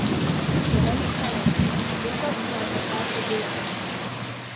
Je velik talent, letos pa je postal še delavec.